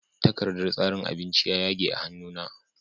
Takardar tsarin abinci ya yage a hannu na